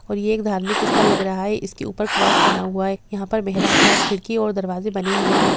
और ये धार्मिक स्थल लग रहा है इसके ऊपर क्रॉस बना हुआ है यहाँ पर खिड़की और दरवाजे बने हुए है।